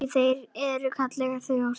Því þeir eru kurteis þjóð.